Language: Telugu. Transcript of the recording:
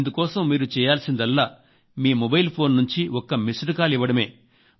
ఇందుకోసం మీరు చేయాల్సిందల్లా మీ మొబైల్ ఫోన్ నుంచి ఒక్క మిస్డ్ కాల్ ఇవ్వడమే